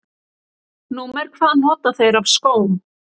Númer hvað nota þeir af skóm?